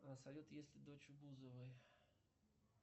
салют есть ли дочь у бузовой